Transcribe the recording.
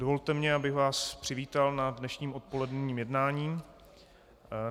Dovolte mi, abych vás přivítal na dnešním odpoledním jednání.